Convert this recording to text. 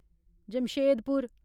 Jamshedpur